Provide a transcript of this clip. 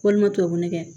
Walima tubabu nɛgɛn